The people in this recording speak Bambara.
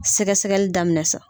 I bɛ ɛgɛsɛgɛli daminɛ sa.